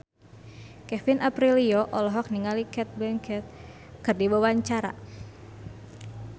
Kevin Aprilio olohok ningali Cate Blanchett keur diwawancara